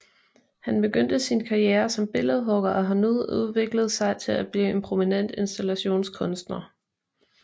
Han begyndte sin karriere som billedhugger og har nu udviklet sig til at blive en prominent installationskunstner